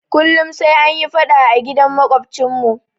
Kullum sai anyi faɗa a gidan maƙwabcinmu.